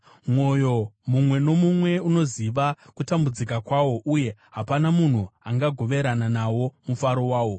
Mwoyo mumwe nomumwe unoziva kutambudzika kwawo, uye hapana munhu angagoverana nawo mufaro wawo.